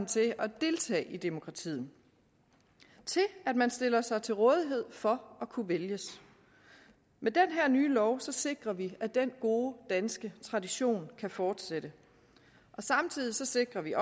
til at deltage i demokratiet til at man stiller sig til rådighed for at kunne vælges med den her nye lov sikrer vi at den gode danske tradition kan fortsætte samtidig sikrer vi